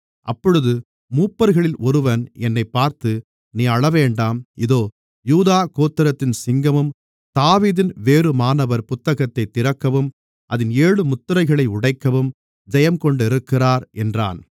அப்பொழுது மூப்பர்களில் ஒருவன் என்னைப் பார்த்து நீ அழவேண்டாம் இதோ யூதா கோத்திரத்தின் சிங்கமும் தாவீதின் வேருமானவர் புத்தகத்தைத் திறக்கவும் அதின் ஏழு முத்திரைகளையும் உடைக்கவும் ஜெயங்கொண்டிருக்கிறார் என்றான்